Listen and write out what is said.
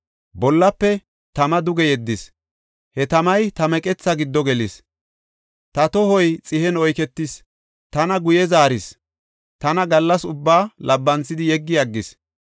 Bollafe tama duge yeddis; he tamay ta meqethaa giddo gelis. Ta tohoy xihen oyketis; tana guye zaaris; tana gallas ubbaa labbanthidi yeggi aggis.